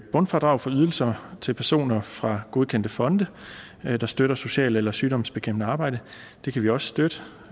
bundfradrag for ydelser til personer fra godkendte fonde der støtter socialt eller sygdomsbekæmpende arbejde det kan vi også støtte